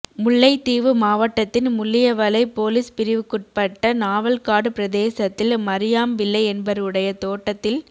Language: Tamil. முல்லைத்தீவு மாவட்டத்தின் முள்ளியவளை பொலிஸ் பிரிவுக்குட்பட்ட நாவல்காடு பிரதேசத்தில் மரியாம்பிள்ளை என்பவருடைய தோட்டத்தில்